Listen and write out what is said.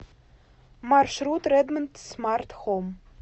маршрут редмонд смарт хоум